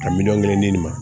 Ka miliyɔn kelen ɲini